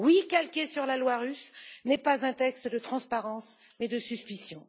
calqué sur la loi russe, n'est pas un texte de transparence, mais de suspicion.